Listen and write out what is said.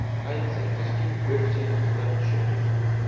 Ayniqsa, kostyum bo‘ksaga qadar tushib tursa.